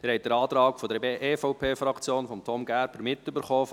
Sie haben den Antrag der EVP-Fraktion, von Tom Gerber gehört.